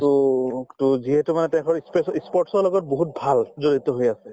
to to যিহেতু মানে তেখেতৰ ই spaso ই sport ৰ লগত বহুত ভাল জড়িত হৈ আছে